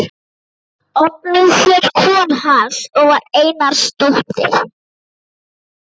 Oddný hét kona hans og var Einarsdóttir.